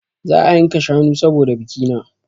Za a yanka shanu saboda bikina